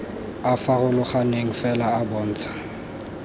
a farologaneng fela a bontsha